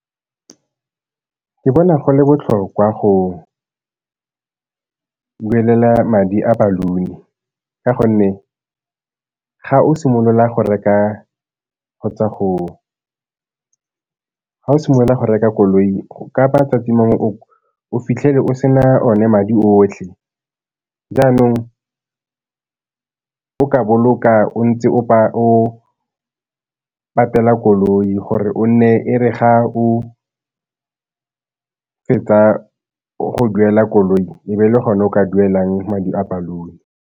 Ke bona go le botlhokwa go duelela madi a balloon-i ka gonne ga o simolola go reka koloi ka mangwe o fitlhele o se na one madi otlhe, jaanong o ka boloka o ntse o patela koloi gore e re ga o fetsa go duela koloi e be le gone o ka duelang madi a balloon.